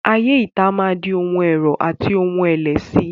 Ayé ìta máa di ohun ẹ̀rọ̀ àti ohun ẹ̀lẹ̀ síi.